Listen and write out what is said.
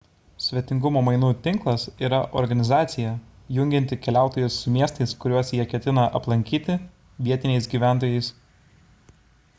svetingumo mainų tinklas yra organizacija jungianti keliautojus su miestais kuriuos jie ketina aplankyti vietiniais gyventojais